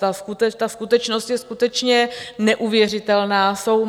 Ta skutečnost je skutečně neuvěřitelná.